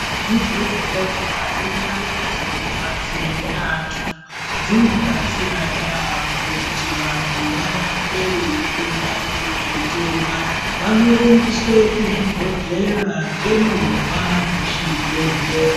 Zvibhedhlera nendau dzinodetsera antu dzinobatsira yaamho kuti vantu varapwe veipora kuzvitenda, vanorumbiswe kuzvibhedhlera ngemovha dzezvibhedhlera.